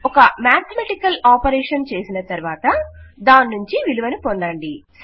ఒక mathematical operation చేసిన తరువాత దాన్నుంచి విలువను పొందండి